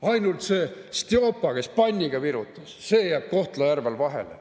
Ainult see Stjopa, kes panniga virutas, jääb Kohtla-Järvel vahele.